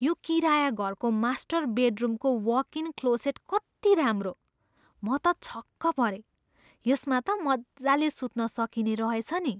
यो किराया घरको मास्टर बेडरुमको वकइन क्लोसेट कति राम्रो! म त छक्क परेँ। यसमा त मजाले सुत्न सकिने रहेछ नि।